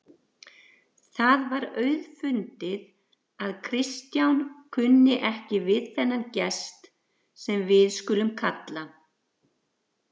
Það var auðfundið að Kristján kunni ekki við þennan gest, sem við skulum kalla